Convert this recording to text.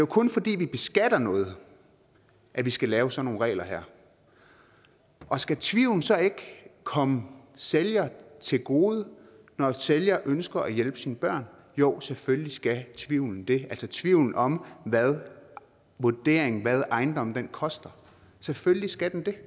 kun fordi vi beskatter noget at vi skal lave sådan nogle regler her og skal tvivlen så ikke komme sælger til gode når sælger ønsker at hjælpe sine børn jo selvfølgelig skal tvivlen det altså tvivlen om hvad vurderingen er hvad ejendommen koster selvfølgelig skal den det